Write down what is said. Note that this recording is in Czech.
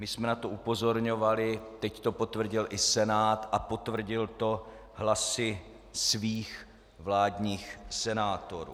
My jsme na to upozorňovali, teď to potvrdil i Senát - a potvrdil to hlasy svých vládních senátorů.